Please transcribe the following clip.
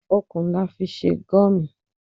Okùn la fi sè Gurmí